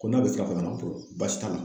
Ko n'a bɛ sira fɛ ka na baasi t'a la.